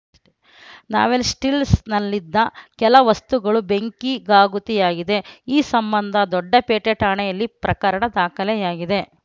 ನಾವೆಲ್ಟಿಸ್‌ನಲ್ಲಿದ್ದ ಕೆಲ ವಸ್ತುಗಳು ಬೆಂಕಿಗಾಹುತಿಯಾಗಿದೆ ಈ ಸಂಬಂಧ ದೊಡ್ಡಪೇಟೆ ಠಾಣೆಯಲ್ಲಿ ಪ್ರಕರಣ ದಾಖಲಾಗಿದೆ